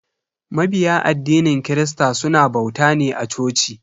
Mabiya addinin christa suna bauta ne a coci.